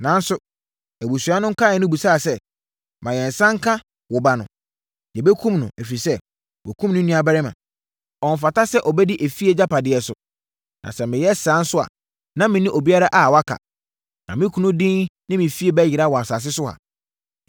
Nanso, abusua no nkaeɛ no bisaa sɛ, ‘Ma yɛn nsa nka wo ba no. Yɛbɛkum no, ɛfiri sɛ, woakum ne nuabarima. Ɔmfata sɛ ɔbɛdi efie agyapadeɛ so.’ Na sɛ meyɛ saa nso a, na menni obiara a waka, na me kunu din ne me fie bɛyera wɔ asase so ha.”